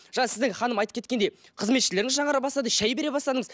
жаңа сіздің ханым айтып кеткендей қызметшілеріңіз жаңара бастады шай бере бастдыңыз